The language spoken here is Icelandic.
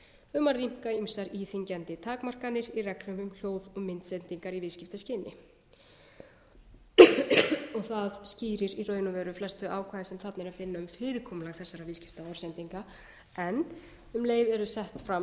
um að rýmka ýmsar íþyngjandi takmarkanir í reglum um hljóð og myndsendingar í viðskiptaskyni og það skýrir í raun og veru flest þau ákvæði sem þarna er að finna um fyrirkomulag þessara viðskiptaorðsendinga en um leið eru sett fram